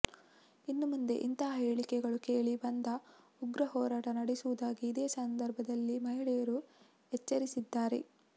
ಇನ್ನು ಮುಂದೆ ಇಂತಹ ಹೇಳಿಕೆಗಳು ಕೇಳಿ ಬಂದರೆ ಉಗ್ರ ಹೋರಾಟ ನಡೆಸುವುದಾಗಿ ಇದೇ ಸಂದರ್ಭದಲ್ಲಿ ಮಹಿಳೆಯರು ಎಚ್ಚರಿಸಿದ್ದಾರೆ